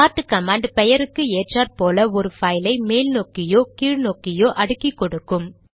chart command பெயருக்கு ஏற்றாற்போல் ஒரு பைல் ஐ மேல் நோக்கியோ கீழ் நோக்கியோ அடுக்கிக்கொடுக்கும்